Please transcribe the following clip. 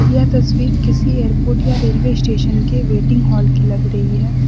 यह तस्वीर किसी एयरपोर्ट या रेलवे स्टेशन के वेटिंग हॉल की लग रही है।